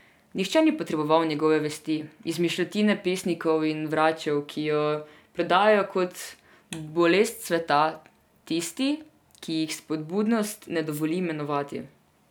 Nihče ni potreboval njegove vesti, izmišljotine pesnikov in vračev, ki jo prodajajo kot bolest sveta tisti, ki jih spodobnost ne dovoli imenovati.